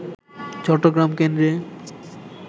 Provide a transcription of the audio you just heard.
চট্টগ্রাম কেন্দ্রে